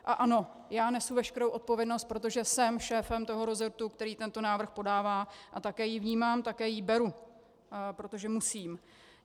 A ano, já nesu veškerou odpovědnost, protože jsem šéfem toho resortu, který tento návrh podává, a také ji vnímám, také ji beru, protože musím.